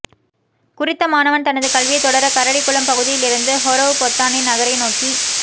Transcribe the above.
குறித்த மாணவன் தனது கல்வியைத்தொடர கரடிக்குளம் பகுதியிலிருந்து ஹொரவ்பொத்தானை நகரை நோக்கி